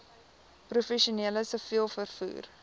professioneel siviel vervoer